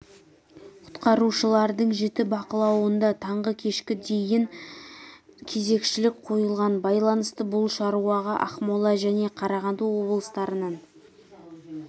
құтқарушылардың жіті бақылауында таңғы кешкі дейін кезекшілік қойылған байланысты бұл шаруаға ақмола және қарағанды облыстарынан